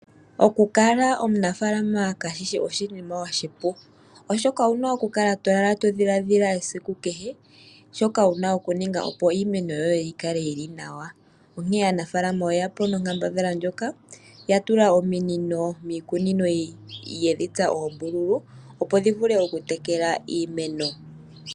Oku kala omunafalama kashishi oshinima oshipu, oshoka owuna okulala todhiladhila, shoka wuna okuninga opo iimeno yoye yikale yili nawa, onkee aanafalama oye yapo nonkambadhala ndjoka ya tula ominino miikunino, yedhi tsa oombululu, opo dhi vule okutekela iimeno.